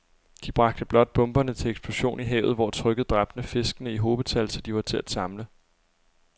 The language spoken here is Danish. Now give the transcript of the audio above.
De bragte blot bomberne til eksplosion i havet, hvor trykket dræbte fiskene i hobetal, så de var til at samle